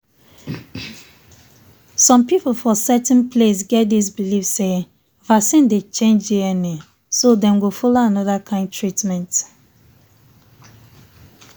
some people for certain place get this believe say vaccine dey change dna so dem go follow another kind treatment.